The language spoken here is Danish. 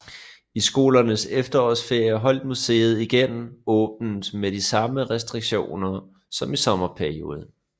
I skolernes efterårsferie holdt museet igen åbent med de samme restriktioner som i sommerperioden